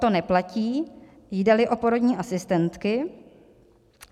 To neplatí, jde-li o porodní asistentky."